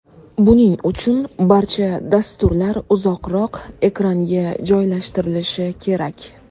Buning uchun barcha dasturlar uzoqroq ekranga joylashtirilishi kerak.